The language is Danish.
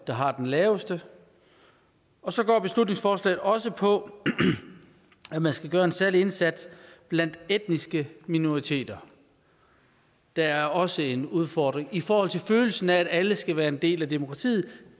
der har den laveste så går beslutningsforslaget også ud på at man skal gøre en særlig indsats blandt etniske minoriteter der er også en udfordring i forhold til følelsen af at alle skal være en del af demokratiet